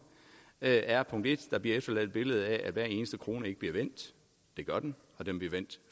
er punkt 1 der bliver efterladt et billede af at hver eneste krone ikke bliver vendt det gør den og den bliver vendt